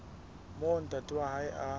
moo ntate wa hae a